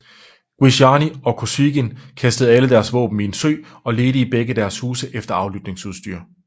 Gvisjiani og Kosygin kastede alle deres våben i en sø og ledte i begge deres huse efter aflytningsudstyr